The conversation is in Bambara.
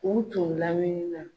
U tun lamini na.